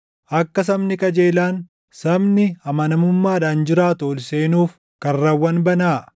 Akka sabni qajeelaan, sabni amanamummaadhaan jiraatu ol seenuuf, karrawwan banaa.